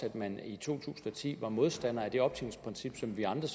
at man i to tusind og ti var modstander af det optjeningsprincip som vi andre